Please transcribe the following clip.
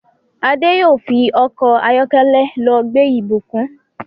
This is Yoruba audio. Ade yóò fí Ọkọ̀ ayọ́kẹ́lẹ́ ló gbé Ibukun.